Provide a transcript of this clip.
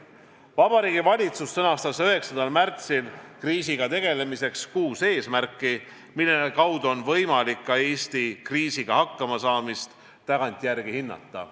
Vabariigi Valitsus sõnastas 9. märtsil kriisiga tegelemiseks kuus eesmärki, mille kaudu on võimalik ka Eesti kriisiga hakkamasaamist tagantjärele hinnata.